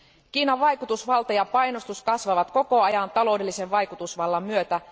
Kiinan vaikutusvalta ja painostus kasvavat koko ajan taloudellisen vaikutusvallan myötä.